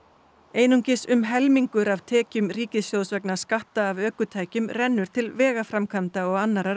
einungis um helmingur af tekjum ríkissjóðs vegna skatta af ökutækjum rennur til vegaframkvæmda og annarrar